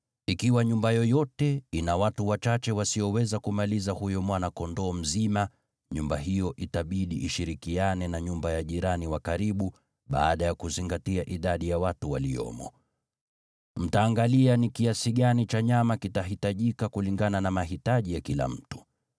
Ikiwa nyumba yoyote ina watu wachache wasioweza kumaliza huyo mwana-kondoo mzima, nyumba hiyo itabidi ishirikiane na nyumba ya jirani wa karibu, baada ya kuzingatia idadi ya watu waliomo. Mtaangalia ni kiasi gani cha nyama kitahitajika kulingana na mahitaji ya kila mtu.